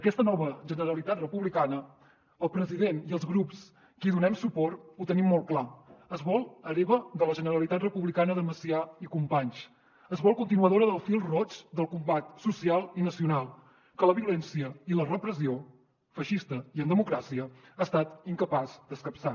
aquesta nova generalitat republicana el president i els grups que hi donem suport ho tenim molt clar es vol hereva de la generalitat republicana de macià i companys es vol continuadora del fil roig del combat social i nacional que la violència i la repressió feixista i en democràcia han estat incapaces d’escapçar